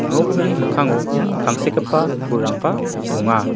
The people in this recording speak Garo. nokni mikkango tangsekgipa pulrangba donga.